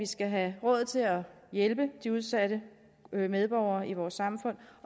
skal have råd til at hjælpe de udsatte medborgere i vores samfund